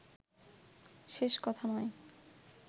শেষ কথা নয়